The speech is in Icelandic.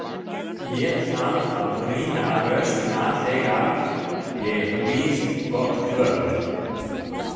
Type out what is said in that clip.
Ég þarf að brýna raustina þegar ég býð gott kvöld.